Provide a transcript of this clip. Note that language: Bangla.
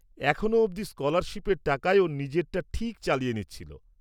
এখনও অবধি স্কলারশিপের টাকায় ও নিজেরটা ঠিক চালিয়ে নিচ্ছিল।